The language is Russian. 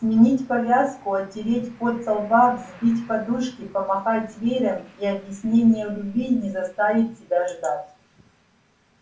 сменить повязку отереть пот со лба взбить подушки помахать веером и объяснение в любви не заставит себя ждать